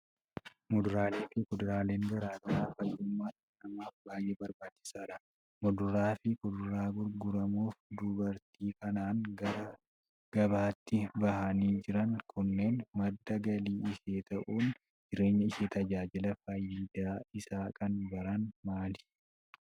Muduraalee fi kuduraaleen garaa garaa fayyummaa dhala namaaf baay'ee barbaachisaadha. Muduraa fi kuduraan gurguramuuf dubartii kanaan gara gabaatti bahanii jiran kunneen madda galii ishee ta'uun jireenya ishee tajaajila. Faayidaan isaa kan biraan maali?